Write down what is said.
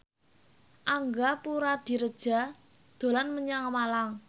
Angga Puradiredja dolan menyang Malang